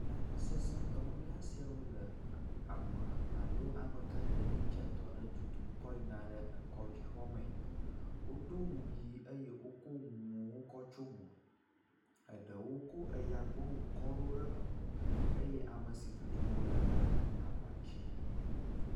Lãmesesẽ dɔwɔla siawo le ame alo amegãɖeɖi dze dɔ aɖe tutum kɔ yina ɖe kɔdzi xɔmee. Woɖo nu ʋi eye wokɔ nuwo kɔ tsio mo, eɖewo kɔ eya gbɔnu kɔ ɖo mo eye ame si tutum wole la le aba dzi.